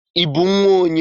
I bụ nnwa onye?